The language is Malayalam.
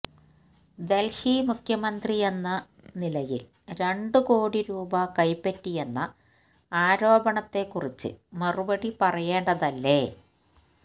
ദല്ഹി മുഖ്യമന്ത്രിയെന്ന നിലയില് രണ്ട് കോടി രൂപ കൈപ്പറ്റിയെന്ന ആരോപണത്തെക്കുറിച്ച് മറുപടി പറയേണ്ടതല്ലേ